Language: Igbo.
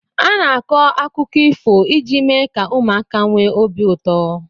Ana-akọ akụkọ ifo iji mee ka ụmụaka nwee obi ụtọ.